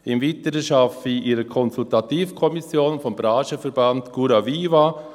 Im Weiteren arbeite ich in einer Konsultativkommission des Branchenverbands Curaviva.